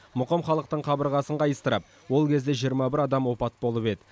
мұқым халықтың қабырғасын қайыстырып ол кезде жиырма бір адам опат болып еді